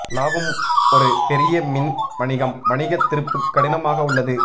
லாபம் ஒரு பெரிய மின் வணிகம் வணிக திருப்பு கடினமாக உள்ளது